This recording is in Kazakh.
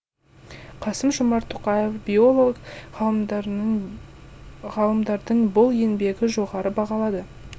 қасым жомарт тоқаев биолог ғалымдардың бұл еңбегі жоғары бағалады